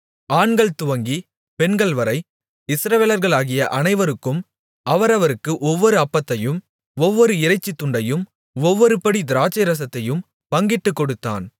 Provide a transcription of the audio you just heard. ஆண்கள்துவங்கி பெண்கள்வரை இஸ்ரவேலர்களாகிய அனைவருக்கும் அவரவருக்கு ஒவ்வொரு அப்பத்தையும் ஒவ்வொரு இறைச்சித் துண்டையும் ஒவ்வொருபடி திராட்சைரசத்தையும் பங்கிட்டுக் கொடுத்தான்